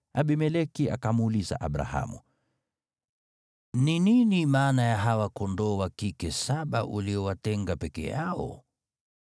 Abimeleki akamuuliza Abrahamu, “Ni nini maana ya hawa kondoo wa kike saba uliowatenga peke yao?”